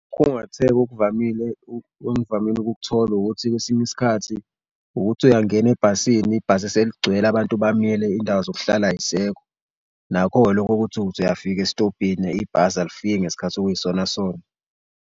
Khungatheka okuvamile engvamile ukukuthola ukuthi kwesinye isikhathi ukuthi uyangena ebhasini ibhasi seligcwele abantu bamile iy'ndawo zokuhlala ayisekho. Nakho-ke loko kokuthi ukuthi uyafika esitobhini ibhasi alifikile ngesikhathi okuyisona sona.